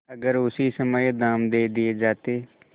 अगर उसी समय दाम दे दिये जाते